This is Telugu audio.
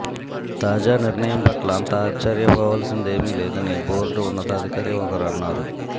తాజా నిర్ణయం పట్ల అంత ఆశ్చర్యపోవాల్సిందేమీ లేదని బోర్డు ఉన్నతాధికారి ఒకరు అన్నారు